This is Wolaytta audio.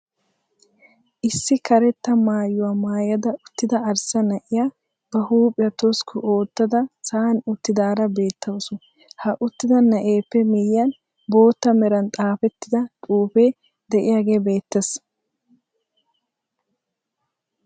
Issi karetta maayuwaa mayada uttida arssa na'iyaa ba huuphphiiyaa toskku oottada sa'aan uttidaara beetawus. Ha uttida na'eeppe miyiyaan bootta meraan xaafettida xuufee de'iyaagee beettees.